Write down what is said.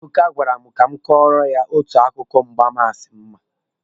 Ebuka gwara m ka m kọọrọ ya otu akụkọ mgbansi m ma.